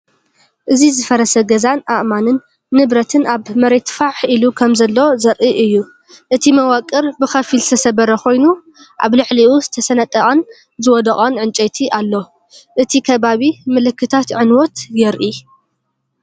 እዚ ዝፈረሰ ገዛን ኣእማንን ንብረትን ኣብ መሬት ፋሕ ኢሉ ከምዘሎ ዘርኢ እዩ። እቲ መዋቕር ብኸፊል ዝተሰብረ ኮይኑ፡ ኣብ ልዕሊኡ ዝተሰነጠቐን ዝወደቐን ዕንጨይቲ ኣሎ። እቲ ከባቢ ምልክታት ዕንወት የርኢ።